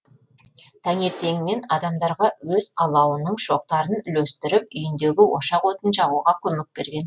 таңертеңмен адамдарға өз алауының шоқтарын үлестіріп үйіндегі ошақ отын жағуға көмек берген